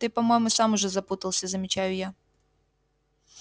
ты по-моему сам уже запутался замечаю я